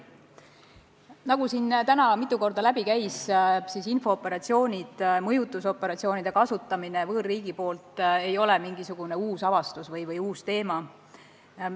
Nagu siin täna mitu korda läbi käis, infooperatsioonide ja mõjutusoperatsioonide kasutamine võõrriigi poolt ei ole mingisugune uus avastus või uus teema.